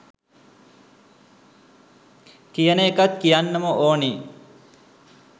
කියන එකත් කියන්නම ඕනේ.